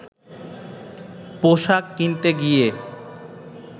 পোশাক কিনতে গিয়ে